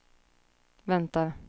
väntar